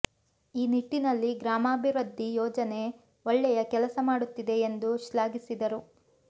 ಈ ನಿಟ್ಟಿನಲ್ಲಿ ಗ್ರಾಮಾಭಿವೃದ್ಧಿ ಯೋಜನೆ ಒಳ್ಳೆಯ ಕೆಲಸ ಮಾಡುತ್ತಿದೆ ಎಂದು ಶ್ಲಾಘಿಸಿದರು